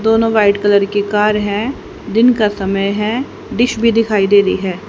दोनों white colour की car है दिन का समय है डिश भी दिखाई दे रही है।